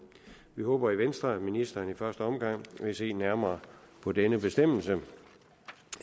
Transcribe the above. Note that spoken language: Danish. vi håber i venstre at ministeren i første omgang vil se nærmere på denne bestemmelse